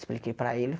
Expliquei para ele.